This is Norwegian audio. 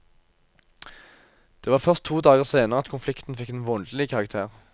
Det var først to dager senere at konflikten fikk en voldelig karakter.